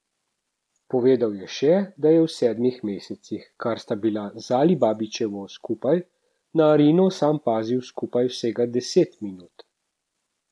Povedal je še, da je v sedmih mesecih, kar sta bila z Alibabićevo skupaj, na Arino sam pazil skupaj vsega deset minut.